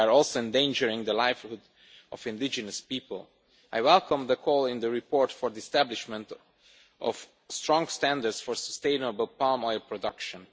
and, moreover, we are endangering the lives of indigenous people. I welcome the call in the report for the establishment of strong standards for sustainable palm oil production.